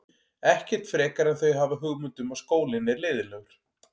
Ekkert frekar en þau hafa hugmynd um að skólinn er leiðinlegur.